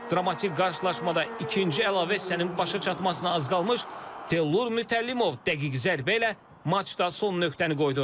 Dramatik qarşılaşmada ikinci əlavə hissənin başa çatmasına az qalmış Təllur Mütəllimov dəqiq zərbə ilə matçda son nöqtəni qoydu.